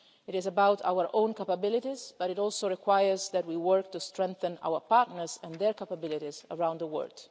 It is about our own capabilities, but it also requires us to work to strengthen our partners and their capabilities around the world.